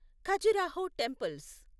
Khajuraho temples